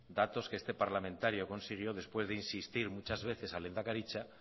datos que este parlamentario consiguió después de insistir muchas veces a lehendakaritza